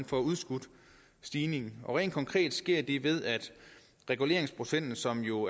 får udskudt stigningen konkret sker det ved at reguleringsprocenten som jo